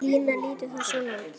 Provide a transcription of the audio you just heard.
Línan lítur þá svona út